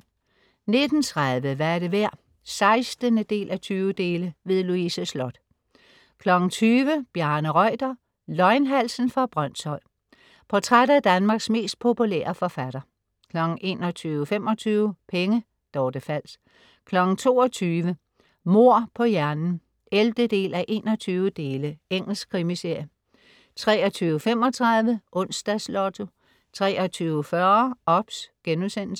19.30 Hvad er det værd? 16:20. Louise Sloth 20.00 Bjarne Reuter. Løgnhalsen fra Brønshøj. Portræt af Danmarks mest populære forfatter 21.25 Penge. Dorthe Fals 22.00 Mord på hjernen 11:21. Engelsk krimiserie 23.35 Onsdags Lotto 23.40 OBS*